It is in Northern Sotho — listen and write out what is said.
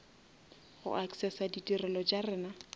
go accessa ditirelo tša rena